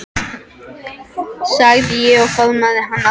sagði ég og faðmaði hann að mér.